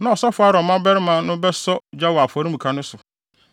Na ɔsɔfo Aaron mmabarima no bɛsɔ gya wɔ afɔremuka no so.